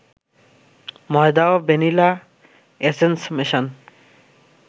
ময়দা ও vanilla essence মেশান